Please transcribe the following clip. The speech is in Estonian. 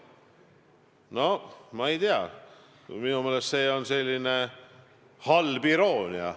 No ma ei tea, minu meelest see on halb iroonia.